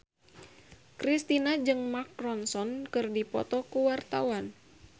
Kristina jeung Mark Ronson keur dipoto ku wartawan